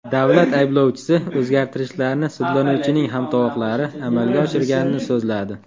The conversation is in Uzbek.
Davlat ayblovchisi o‘zgartirishlarni sudlanuvchining hamtovoqlari amalga oshirganini so‘zladi.